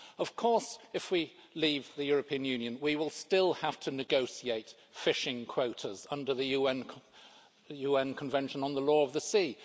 Of course, if we leave the European Union we will still have to negotiate fishing quotas under the UN Convention on the Law of the Sea.